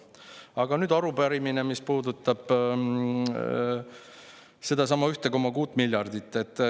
Aga nüüd arupärimine, mis puudutab sedasama 1,6 miljardit eurot.